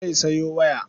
Zai sayo waya.